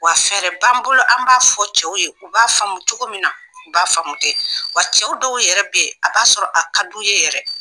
Wa fɛrɛɛrɛ b'an bolo an b'a fɔ cɛw ye, u b'a faamu cogo min na u b'a faamu ten, wa cɛw dɔw yɛrɛ bɛ yen a b'a sɔrɔ a ka d'u ye yɛrɛ.